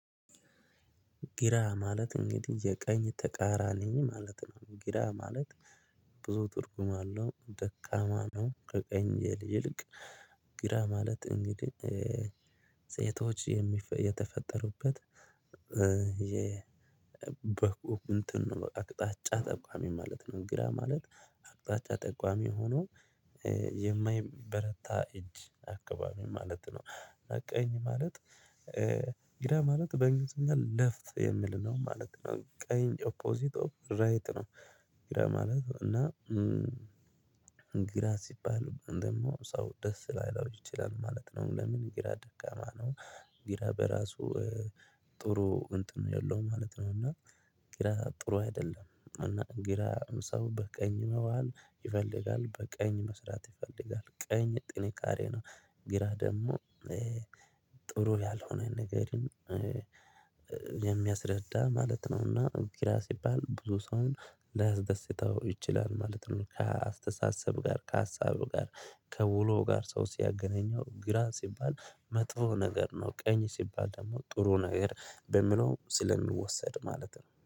ግራ ማለት እንግዲህ የቀኝ ተቃራኒ ማለት ነው ግራ ማለት ብዙ ትርጉም አለው ደካማ ነው ከቀኝ ይልቅ ግራ ማለት እንግዲህ ሴቶች የተፈጠሩበት የበኩ እንትን ነው በቃ አቅጣጫ ጠቋሚ ማለት ነው። ግራ ማለት አቅጣጫ ጠቋሚ ሆኖ የማይበረታ እጅ አካባቢ ማለት ነው አቀኝ ማለት ግራ ማለት በእንግሊዝኛ ሌፍት የሚል ነው ማለት ነው ቀይ ኦፖዚት ኦፍ ራይት ነው ግራ ማለት ነው እና ግራ ሲባል ደግሞ ሰው ደስ ላይለው ይችላል ማለት ነው ለምን ግራ ደጋማ ነው ግራ በራሱ ጥሩ እንትን የለውም ማለት ነው እና ግራ ጥሩ አይደለም እና ግራ ሰው በቀኝ መዋል ይፈልጋል በቀኝ መስራት ይፈልጋል ቀኝ ጥንካሬ ነው ግራ ደግሞ ጥሩ ያልሆነ ነገርን የሚያስረዳ ማለት ነውና ግራ ሲባል ብዙ ሰውን ላያስደስተው ይችላል ማለት ነው ከአስተሳሰብ ጋር ከሀሳብ ጋር ከውሎ ጋር ሰው ሲያገናኘው ግራ ሲባል መጥፎ ነገር ነው ቀኝ ሲባል ደግሞ ጥሩ ነገር በሚለው ስለሚወሰድ ማለት ነው